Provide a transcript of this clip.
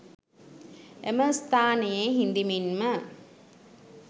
එම ස්ථානයේ හිඳිමින්ම